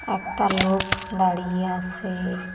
একটা লোক দাঁড়িয়ে আছে।